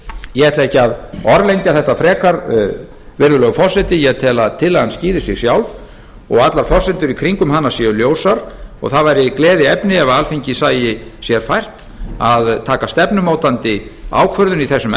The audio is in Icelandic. ég ætla ekki að orðlengja þetta frekar virðulegur forseti ég tel að tillagan skýri sig sjálf og allar forsendur í kringum hana séu ljósar og það væri gleðiefni ef alþingi sæi sér fært að taka stefnumótandi ákvörðun í þessum